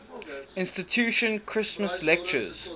institution christmas lectures